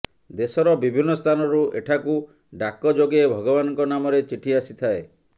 ଦେଶର ବିଭିନ୍ନ ସ୍ଥାନରୁ ଏଠାକୁ ଡ଼ାକ ଯୋଗେ ଭଗବାନଙ୍କ ନାମରେ ଚିଠି ଆସିଥାଏ